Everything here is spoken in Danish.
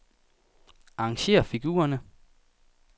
Arrangér figurerne.